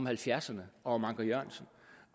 halvfjerdserne om anker jørgensen